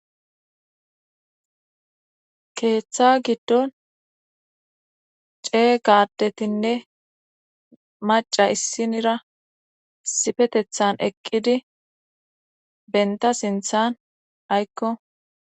keeththa giddon cee gadetinne maca issinira sifetethan eqqidi benta sinthan aykko